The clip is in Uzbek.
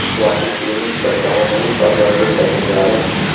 yaxshi kiyinish va zamonaviy pardozda tajribali.